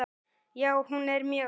Já, hún er mjög flott.